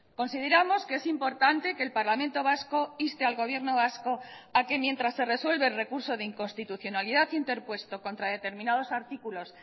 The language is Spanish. consideramos que es importante que el parlamento vasco inste al gobierno vasco a que mientras se resuelve el recurso de inconstitucionalidad interpuesto contra determinados artículos